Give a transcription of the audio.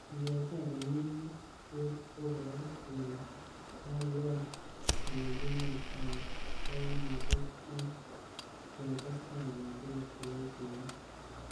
Ingeche komie kit, koboru kele kakiyai telelchinet ab koimutiet ak ketesta kecher kibotinik.